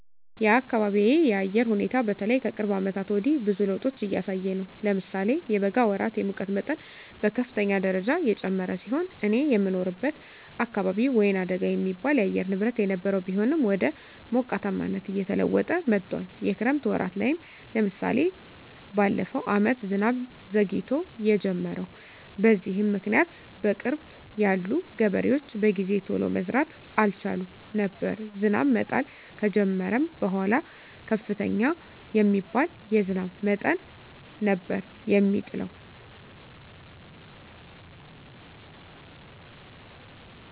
የአካቢየ የአየር ሁኔታ በተለይ ከቅርብ አመታት ወዲህ ብዙ ለዉጦች እያሳየ ነው። ለምሳሌ የበጋ ወራት የሙቀት መጠን በከፍተኛ ደረጃ የጨመረ ሲሆን እኔ የምኖርበት አካባቢ ወይናደጋ የሚባል የአየር ንብረት የነበረው ቢሆንም ወደ ሞቃታማነት እየተለወጠ መጥቶአል። የክረምት ወራት ላይም ለምሳሌ በለፈው አመት ዝናብ ዘግይቶ የጀመረው። በዚህም ምክኒያት በቅርብ ያሉ ገበሬዎች በጊዜ ቶሎ መዝራት አልቻሉም ነበር። ዝናብ መጣል ከጀመረም በኃላ ከፍተኛ የሚባል የዝናብ መጠን ነበር የሚጥለው።